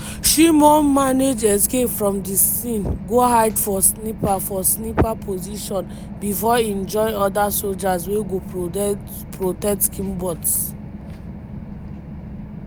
shimon manage escape from di scene go hide for sniper for sniper position bifor im join oda sojas wey go protect kibbutz.